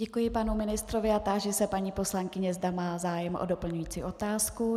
Děkuji panu ministrovi a táži se paní poslankyně, zda má zájem o doplňující otázku.